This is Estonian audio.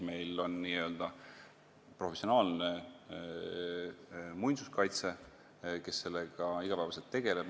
Meil on professionaalne muinsuskaitse, kes sellega iga päev tegeleb.